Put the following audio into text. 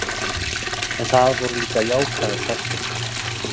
En það voru líka jákvæðir þættir.